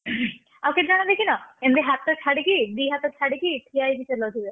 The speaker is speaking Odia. ଆଉ କେତଜଣ ଦେଖିନ ଏମତି ହାତ ଛାଡିକି ଦି ହାତ ଛାଡିକି, ଠିଆ ହେଇକି ଚଲଉଥିବେ?